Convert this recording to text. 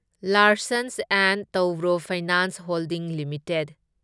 Larsen and Toubro finance holdings limited